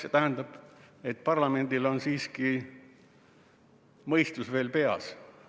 See tähendab, et parlamendil on siiski mõistus veel peas.